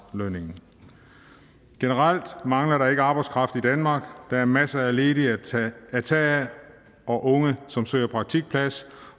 lønningen generelt mangler der ikke arbejdskraft i danmark der er masser af ledige at tage af og unge som søger praktikplads